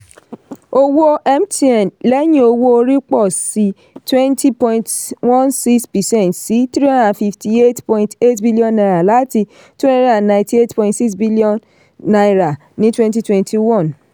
owó mtn lẹ́yìn owó orí pọ̀ sí pọ̀ sí twenty point one six percent sí three hundred and fifty eight point eight billion naira láti two hundred and ninety eight point six billion naira ní twenty twenty one